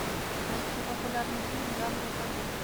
найти популярный фильм в жанре военный